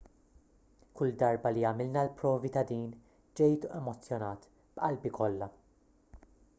kull darba li għamilna l-provi ta' din ġejt emozzjonat b'qalbi kollha